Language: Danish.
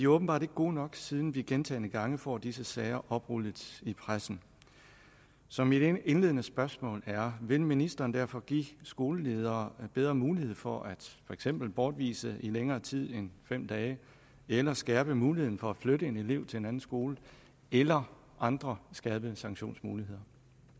åbenbart ikke gode nok siden vi gentagne gange får disse sager oprullet i pressen så mit indledende spørgsmål er vil ministeren derfor give skoleledere bedre mulighed for for eksempel bortvisning i længere tid end fem dage eller skærpe muligheden for at flytte en elev til en anden skole eller er andre skærpende sanktionsmuligheder